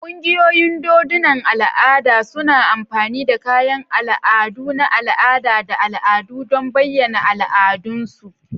Ƙungiyoyin dodunan al'ada suna amfani da kayan ado na al'ada da al'adu don bayyana al'adunsu.